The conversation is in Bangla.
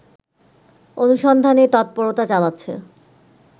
অনুসন্ধানে তৎপরতা চালাচ্ছে